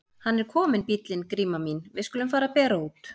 Hann er kominn bíllinn Gríma mín, við skulum fara að bera út.